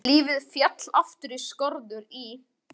Lífið féll aftur í fastar skorður í